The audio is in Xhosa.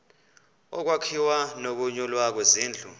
ukwakhiwa nokunyulwa kwezindlu